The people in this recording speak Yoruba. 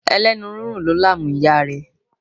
Ẹlẹ́nu rírùn ló làmú ìyá rẹ̀.